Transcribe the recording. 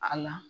A la